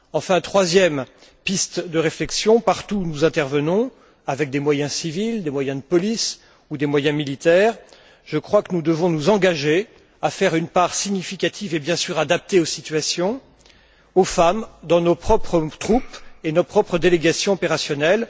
Enfin, troisième piste de réflexion partout où nous intervenons, avec des moyens civils, des moyens de police ou des moyens militaires, je crois que nous devons nous engager à donner aux femmes une place significative et adaptée aux situations dans nos propres troupes et nos propres délégations opérationnelles.